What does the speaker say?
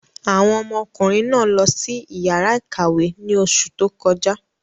Àwọn ọmọkùnrin náà lọ sí ìyàrá-ìkàwé ní oṣù tó kọjá.